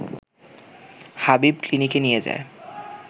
হাবিব ক্লিনিকে নিয়ে যায়